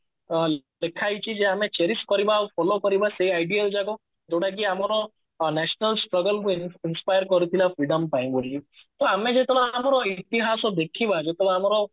ଅ ଲେଖା ହେଇଛି ଯେ ଆମେ chariest କରିବା ଆଉ follow କରିବା ସେଇ idea ଗୁଡାକ ବାକି ଆମର national struggle କରିଥିଲା freedom ପାଇଁ ବୋଲି ତ ଆମେ ଯେତେବେଳେ ଆମର ଇତିହାସ ଦେଖିବା ଯେତେବେଳେ ଆମର